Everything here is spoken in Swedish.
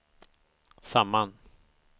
samman